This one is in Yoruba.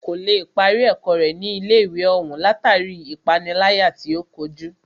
Kò lè parí ẹ̀kọ́ rẹ̀ ní ilé ìwé òún látàri ipániláyà tí o kojú.